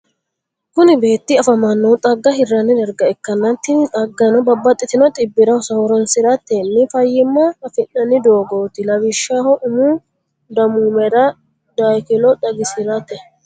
kuni betti afamanohu xagga hirani dariga ikana tini xagaano babaxitino xibirra horonisiratteni fayimma afiinani dogotti. lawishshho umu damumera dakilo xagisiratte.